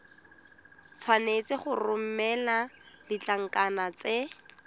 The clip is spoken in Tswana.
tshwanetse go romela ditlankana tse